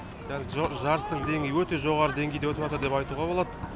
қазір жарыстың деңгейі өте жоғары деңгейде деп айтуға болады